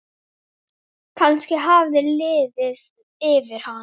Vildi ég væri systir.